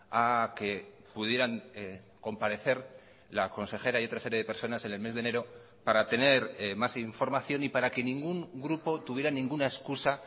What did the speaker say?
a que pudieran comparecer la consejera y otra serie de personas en el mes de enero para tener más información y para que ningún grupo tuviera ninguna excusa